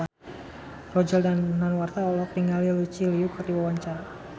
Roger Danuarta olohok ningali Lucy Liu keur diwawancara